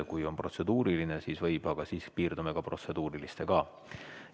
Kui on protseduuriline küsimus, siis võib küsida, aga sel juhul piirdume ka protseduurilise küsimusega.